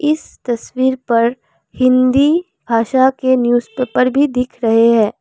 इस तस्वीर पर हिंदी भाषा के न्यूज़पेपर भी दिख रहे हैं।